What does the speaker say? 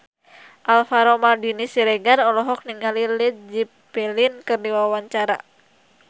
Alvaro Maldini Siregar olohok ningali Led Zeppelin keur diwawancara